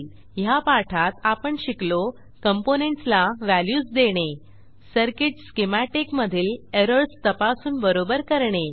ह्या पाठात आपण शिकलो कॉम्पोनेंट्स ला व्हॅल्यूज देणे सर्किट स्कीमॅटिक मधील एरर्स तपासून बरोबर करणे